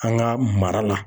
An ka mara la.